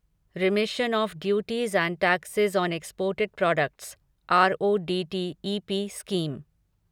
रेमिशन of duties and taxes on exported products RoDTEP scheme